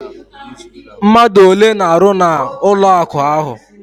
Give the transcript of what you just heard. Mmadụ ole na-arụ na bank ahụ?